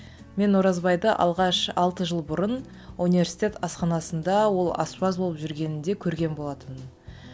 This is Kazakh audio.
мен оразбайды алғаш алты жыл бұрын университет асханасында ол аспаз болып жүргенінде көрген болатынмын